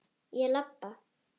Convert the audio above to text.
Ég labba.